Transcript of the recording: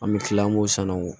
An bɛ kila an b'o sann'o